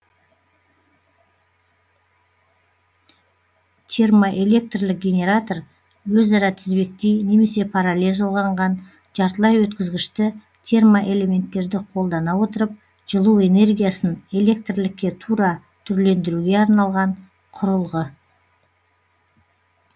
термоэлектрлік генератор өзара тізбектей немесе параллель жалғанған жартылай өткізгішті термоэлементтерді колдана отырып жылу энергиясын электрлікке тура түрлендіруге арналған құрылғы